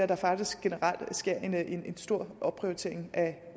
der faktisk generelt sker en stor opprioritering af